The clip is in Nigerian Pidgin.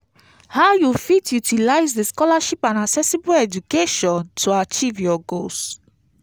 how you fit utilize di scholarship and accessible education to achieve your goals?